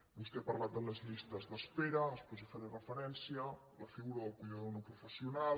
vostè ha parlat de les llistes d’espera després hi faré referència la figura del cuidador no professional